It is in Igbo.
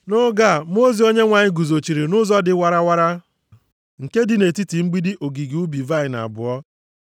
Nʼoge a, mmụọ ozi Onyenwe anyị guzochiri nʼụzọ dị warawara, nke dị nʼetiti mgbidi ogige ubi vaịnị abụọ.